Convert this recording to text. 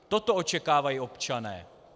Toto očekávají občané.